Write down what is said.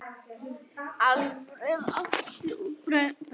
Alfreð, Ásta og börn.